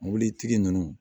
Mobilitigi ninnu